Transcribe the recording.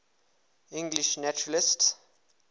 english naturalists